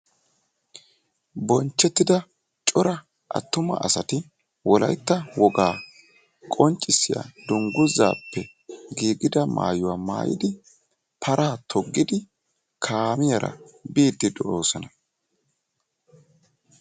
bonchchettida cora attuma asati wolayitta wogaa qonccissiya dunguzzaappe giigida maayuwa maayidi paraa toggidi kaamiyaara biiddi de'oosona.